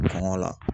Bange la